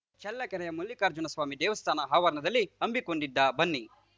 ಚಳ್ಳಕೆರೆಯ ಮಲ್ಲಿಕಾರ್ಜುನಸ್ವಾಮಿ ದೇವಸ್ಥಾನ ಆವರಣದಲ್ಲಿ ಹಮ್ಮಿಕೊಂಡಿದ್ದ ಬನ್ನಿ